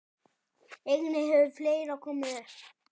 Einnig hefur fleira komið upp.